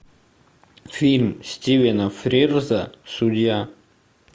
фильм стивена фрирза судья